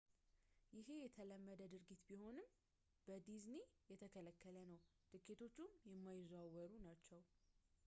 ይሄ የተለመደ ድርጊት ቢሆንም በዲዝኒ የተከለከለ ነው ትኬቶቹም የማይዘዋወሩ ናቸው